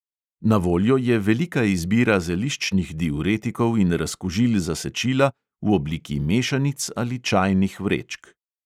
Na voljo je velika izbira zeliščnih diuretikov in razkužil za sečila v obliki mešanic ali čajnih vrečk.